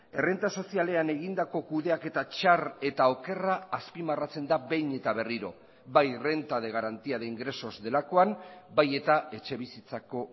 errenta sozialean egindako kudeaketa txar eta okerra azpimarratzen da behin eta berriro bai renta de garantía de ingresos delakoan bai eta etxe bizitzako